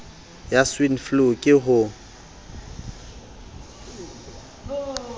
ya swine flu ke ho